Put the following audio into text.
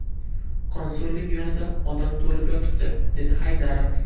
Konsullik yonida odam to‘lib yotibdi”, dedi Haydarov.